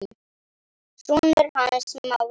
Sonur hans Smára.